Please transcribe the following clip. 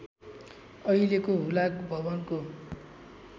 अहिलेको हुलाक भवनको